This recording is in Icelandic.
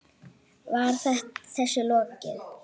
Var þessu lokið?